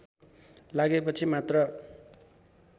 लागेपछि मात्र